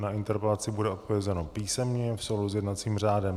Na interpelaci bude odpovězeno písemně v souladu s jednacím řádem.